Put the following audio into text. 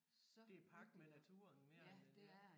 Det pagt med naturen mere end ja